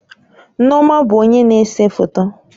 Nneoma bụ onye na-ese foto